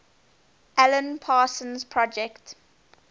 alan parsons project